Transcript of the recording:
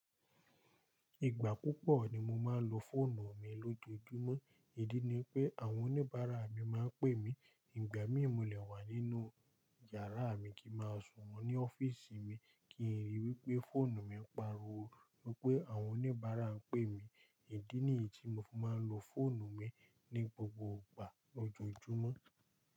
Ìgbà púpọ̀ ni mo máa ń lo fóònù mi lójoojúmọ́, ìdí ni pé àwọn oníbàárà mi máa ń pè mí. Ìgbà mí molẹ̀ wà nínú yàrá mi kí máa sùn wọ́n ní ọ́fíísì mi kí n ríi wípé fóònù mi ń pariwo wípé àwọn oníbàárà ń pè mí. Ìdí nìyí tí mo fi máa ń lo fóònù mi ní gbogbo ìgbà lójoojúmọ́.